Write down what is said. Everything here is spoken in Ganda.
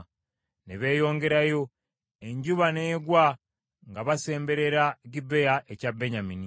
Ne beeyongerayo. Enjuba n’egwa nga basemberera Gibea ekya Benyamini.